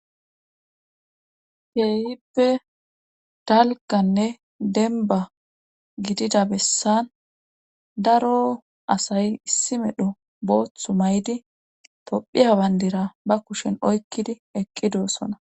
Keehippe dalkanne demba gidida bessan daro asay issi medho booththu may7di tophiya bandira ba kushen oykkidi eqqidossona